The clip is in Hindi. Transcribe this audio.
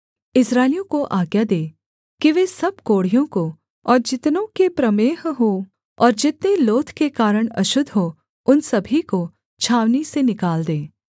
इस्राएलियों को आज्ञा दे कि वे सब कोढ़ियों को और जितनों के प्रमेह हो और जितने लोथ के कारण अशुद्ध हों उन सभी को छावनी से निकाल दें